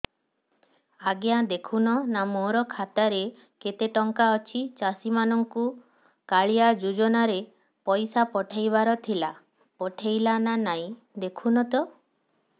ଆଜ୍ଞା ଦେଖୁନ ନା ମୋର ଖାତାରେ କେତେ ଟଙ୍କା ଅଛି ଚାଷୀ ମାନଙ୍କୁ କାଳିଆ ଯୁଜୁନା ରେ ପଇସା ପଠେଇବାର ଥିଲା ପଠେଇଲା ନା ନାଇଁ ଦେଖୁନ ତ